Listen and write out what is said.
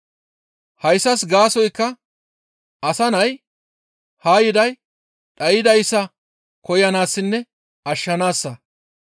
Hayssas gaasoykka Asa Nay haa yiday dhaydayssa koyanaassinne ashshanaassa.